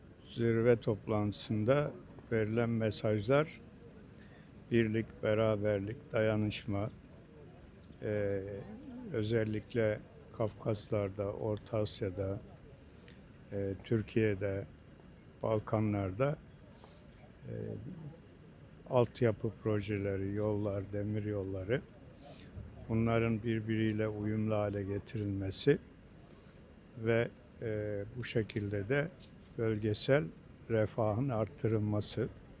Zirvə toplantısında verilən mesajlar birlik, bərabərlik, dayanışma, özəlliklə Qafqaslarda, Orta Asiyada, Türkiyədə, Balkanlarda, alt yapı proyektləri, yollar, dəmir yolları, bunların bir-biriylə uyumlu hale gətirilməsi və bu şəkildə də bölgəsal refahın artırılması.